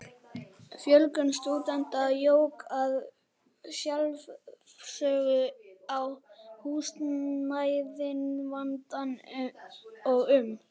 Fjölgun stúdenta jók að sjálfsögðu á húsnæðisvandann og um